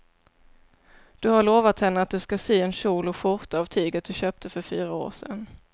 Du har lovat henne att du ska sy en kjol och skjorta av tyget du köpte för fyra år sedan.